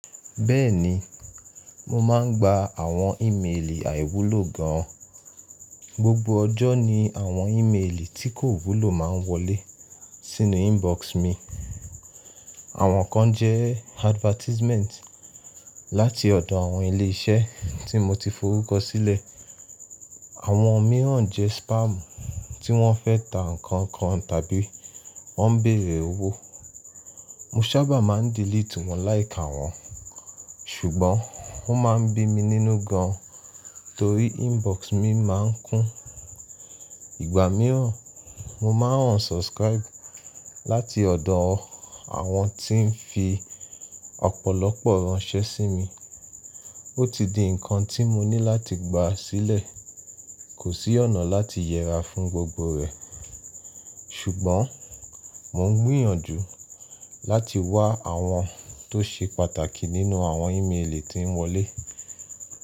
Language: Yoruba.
Bẹ́ẹ̀ni, mo máa ń gba àwọn ìmeelì àìwúlò gan. Gbogbo ọjọ́ ni àwọn ìmeelì tí kò wúlò máa ń wọlé sínú inbox mi. Àwọn kan jẹ́ advertisement láti ọ̀dọ̀ àwọn ilé iṣẹ́ tí mo ti forúkọ sílẹ̀. Àwọn mìíràn jẹ́ spam tí wọ́n fẹ́ tà nkankan tàbí wọ́n ń bèrè owó. Mo sábà máa ń delete wọn láìka wọn, ṣùgbọ́n ó máa ń bí mi nínú gan torí inbox mi máa ń kún. Ìgbà mìíràn, mo máa ń unsubscribe láti ọ̀dọ̀ àwọn tí ń fi ọ̀pọ̀lọpọ̀ ránṣẹ́ sí mi. Ó ti di nǹkan tí mo ní láti gba sílẹ̀. Kò sí ọ̀nà láti yẹra fún gbogbo rẹ̀, ṣùgbọ́n mo ń gbìyànjú láti wá àwọn tó ṣe pàtàkì nínú àwọn ìmrelì tí ń wọlé.